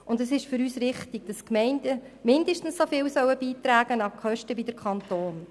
Für uns ist es richtig, dass die Gemeinden zu den Kosten mindestens so viel beitragen wie der Kanton.